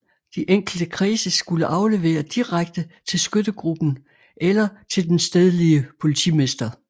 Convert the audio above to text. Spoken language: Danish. De enkelte kredse skulle aflevere direkte til skyttegruppen eller til den stedlige politimester